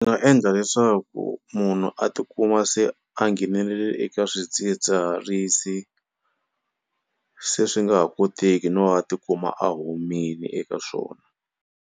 Ni nga endla leswaku munhu a tikuma se a nghenelela eka swidzidziharisi se swi nga ha koteki no a tikuma a humini eka swona.